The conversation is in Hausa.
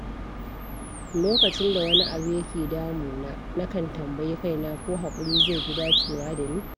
Lokacin da wani abu yake damuna, nakan tambayi kaina ko haƙuri zai fi dacewa da ni.